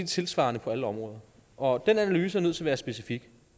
tilsvarende for alle områder og den analyse er nødt til at være specifik